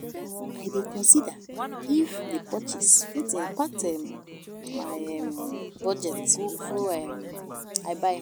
I dey consider if di purchase fit impact um my um budget before um I buy.